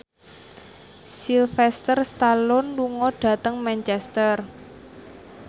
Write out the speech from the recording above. Sylvester Stallone lunga dhateng Manchester